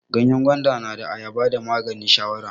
Ganyen gwanda da na Ayaba na maganin shawara.